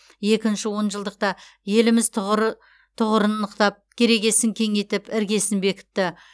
екінші он жылдықта еліміз тұғырын нықтап керегесін кеңейтіп іргесін бекітті